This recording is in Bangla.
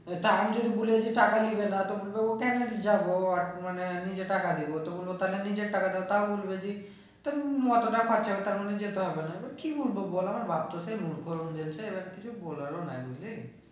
তার মধ্যে বলেছে টাকা নেবে না তো বলবে ও কেন যাবো ও আর মানে নিজে টাকা দিবো তো বলবো তা নিজের টাকা দাও তাও বলবে যে অতটা খরচা তাহলে যেতে হবে না এবার কি বলবো বল আমার বাপ্ তো সেই এবার কিছু বলার ও নেই বুঝলি